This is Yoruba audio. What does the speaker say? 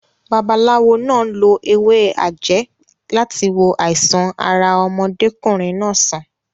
Babaláwo náà lo ewé àjẹ́ láti wo àìsàn ara ọmọdékùnrin náà sàn.